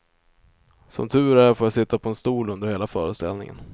Som tur är får jag sitta på en stol under hela föreställningen.